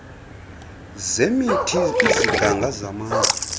zemithi iziganga zamatye